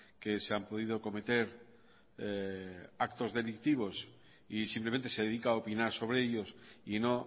que se han podido cometer actos delictivos y simplemente se dedica a opinar sobre ellos y no